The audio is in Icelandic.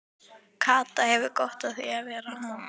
Kata hefur gott af því að vera hann.